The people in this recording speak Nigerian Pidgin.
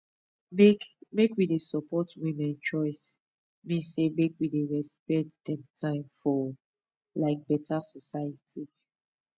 make make we dey support women choice mean say make we dey respect dem time for um beta society